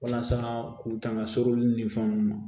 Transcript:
Walasa k'u tanga solo ni ni fɛn ninnu ma